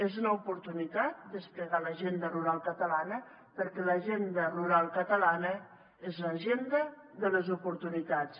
és una oportunitat desplegar l’agenda rural catalana perquè l’agenda rural catalana és l’agenda de les oportunitats